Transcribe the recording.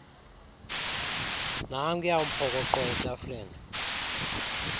nankuya umphokoqo etafileni